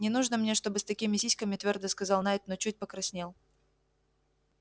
не нужно мне чтобы с такими сиськами твёрдо сказал найд но чуть покраснел